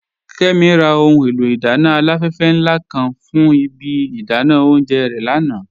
Kẹ́mí rà ọhun è̩lò̩ idànna aláfèfè nla kan fún ìbí idànà ọ̀unjẹ́ re lànà.